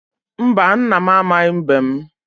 Mba, nna m amaghị mbem.